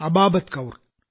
Ababat Kaur